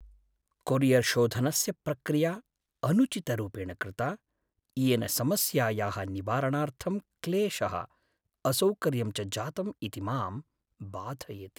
कोरियर्शोधनस्य प्रक्रिया अनुचितरूपेण कृता, येन समस्यायाः निवारणार्थं क्लेशः, असौकर्यं च जातम् इति मां बाधयति।